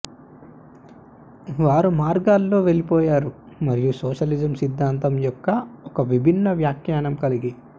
వారు మార్గాల్లో వెళ్లిపోయారు మరియు సోషలిజం సిద్ధాంతం యొక్క ఒక విభిన్న వ్యాఖ్యానం కలిగి